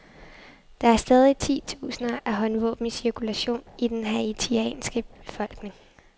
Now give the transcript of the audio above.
Der er stadig titusinder af håndvåben i cirkulation i den haitianske befolkning.